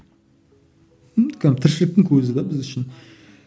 м кәдімгі тіршіліктің көзі де біз үшін